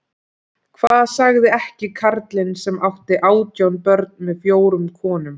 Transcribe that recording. Hvað sagði ekki karlinn sem átti átján börn með fjórum konum